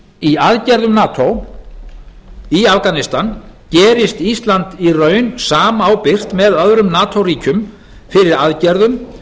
í aðgerðum nato í afganistan gerist ísland í raun samábyrgt með öðrum nato ríkjum fyrir aðgerðum